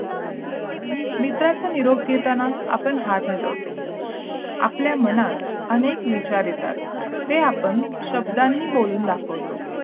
मित्राचा निरोप घेताना आपण हात हलवतो आपल्या मनात अनेक विचार येतात ते आपण शब्दांनी बोलून दाखवतो